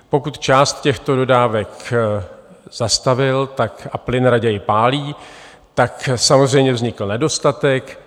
Pokud část těchto dodávek zastavil a plyn raději pálí, tak samozřejmě vznikl nedostatek.